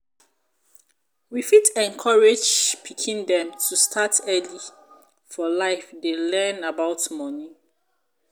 we fit encourage pikin dem to start early for life dey learn about money